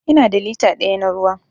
Ina da lita daya na ruwa.